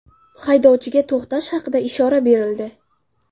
Haydovchiga to‘xtash haqida ishora berildi.